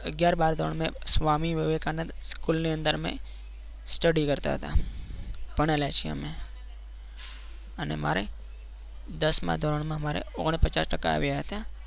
અગિયાર બાર ધોરણ સ્વામી વિવેકાનંદ સ્કૂલની અંદર મેં study કરતા હતા ભણેલા છીએ અમે અને મારે દસમા ધોરણમાં મારે ઓગણપચાસ ટકા આવ્યા હતા.